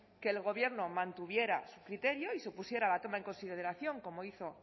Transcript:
que el gobierno mantuviera su criterio y supusiera la toma en consideración como hizo